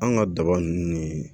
An ka daba ninnu ni